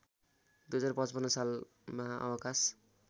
२०५५ सालमा अवकाश